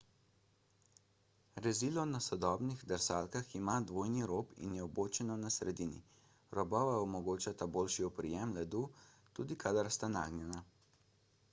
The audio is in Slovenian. rezilo na sodobnih drsalkah ima dvojni rob in je vbočeno na sredini robova omogočata boljši oprijem ledu tudi kadar sta nagnjena